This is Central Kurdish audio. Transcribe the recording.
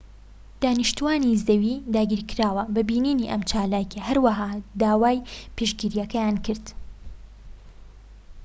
دانیشتووانی زەوی داگیرکراو بە بینینی ئەم چالاکیە هەروەها داوای پشتگیریان کرد